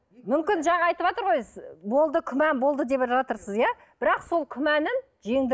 мүмкін жаңа айтыватыр ғой болды күмән болды деп жатырсыз иә бірақ сол күмәнін жеңді